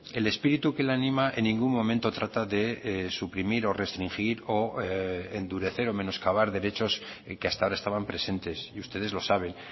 el espíritu que le anima en ningún momento trata de suprimir o restringir o endurecer o menoscabar derechos que hasta ahora estaban presentes y ustedes lo saben